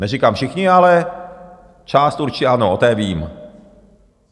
Neříkám všichni, ale část určitě ano, o té vím.